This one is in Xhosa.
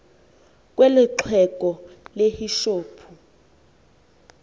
kwelo xhego lehishophu